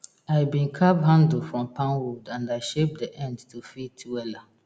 i been carve handle from palm wood and i shape d end to fit wela